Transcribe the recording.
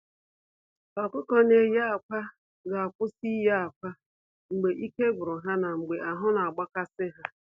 Ọkụkọ na-eye akwa ga-akwụsị ịye akwa mgbe ike gwuru ha na mgbe ahụ na-agba kasị ha.